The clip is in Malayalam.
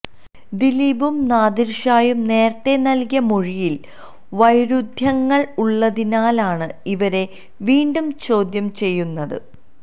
ദിലീപും നാദിര്ഷായും നേരത്തെ നല്കിയ മൊഴിയില് വൈരുദ്ധ്യങ്ങള് ഉള്ളതിനാലാണ് ഇവരെ വീണ്ടും ചോദ്യം ചെയ്യുന്നത്